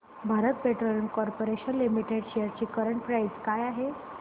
Bharat petroleum corporation limited shares ची current price काय आहे